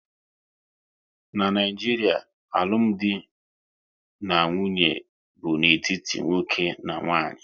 N'Naijiria, alụmdi na nwunye bụ n'etiti nwoke na nwaanyị